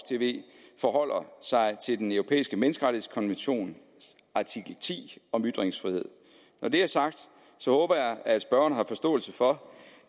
tv forholder sig til den europæiske menneskerettighedskonventions artikel ti om ytringsfrihed når det er sagt håber jeg at spørgeren har forståelse for